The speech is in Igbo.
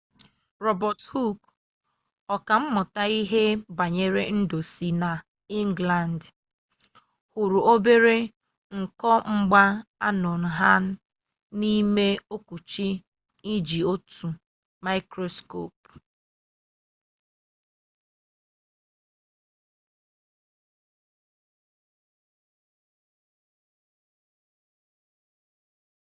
robert hooke ọka mmụta ihe banyere ndụ si na ịnglandị hụrụ obere nkomgbaanonha n'ime okwuchi n'iji otu mikroskopu